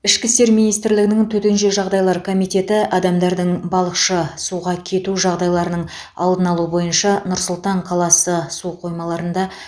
ішкі істер министрлігінің төтенше жағдайлар комитеті адамдардың балықшы суға кету жағдайларының алдын алу бойынша нұр сұлтан қаласы су қоймаларында